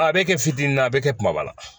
A bɛ kɛ fitinin na a bɛ kɛ kumaba la